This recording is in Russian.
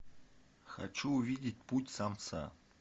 хочу увидеть путь самца